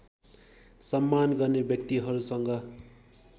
सम्मान गर्ने व्यक्तिहरूसँग